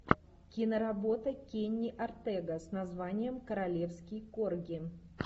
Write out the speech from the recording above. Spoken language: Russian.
киноработа кенни ортега с названием королевский корги